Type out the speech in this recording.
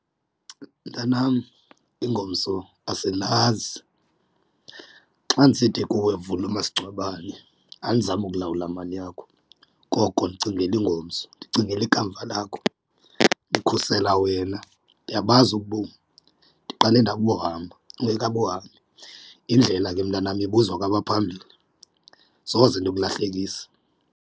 Mntanam, ingomso asilazi. Xa ndisithi kuwe vula umasingcwabane andizami kulawula mali yakho koko ndicingela ingomso ndicingela ikamva lakho ndikhusela wena. Ndiyabazi ubomi ndiqale ndabuhamba ukungekabuhambi, indlela ke mntanam ibuzwa kwabaphambili soze ndikulahlekise.